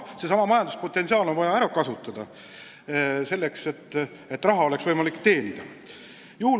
Seesama majanduspotentsiaal on vaja ära kasutada selleks, et oleks võimalik raha teenida.